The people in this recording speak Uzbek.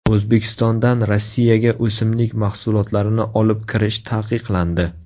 O‘zbekistondan Rossiyaga o‘simlik mahsulotlarini olib kirish taqiqlandi.